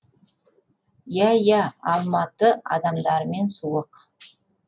иа иә алматы адамдарымен суық